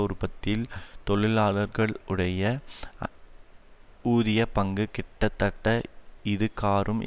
உற்பத்தியில் தொழிலாளர்கள் உடைய ஊதியப் பங்கு கிட்டத்தட்ட இதுகாறும்